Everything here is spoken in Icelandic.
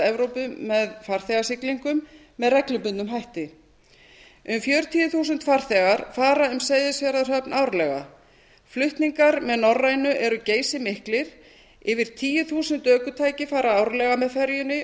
evrópu með farþegasiglingum með reglubundnum hætti um fjörutíu þúsund farþegar fara um seyðisfjarðarhöfn árlega flutningar með norrænu eru geysimiklir yfir tíu þúsund ökutæki fara árlega með ferjunni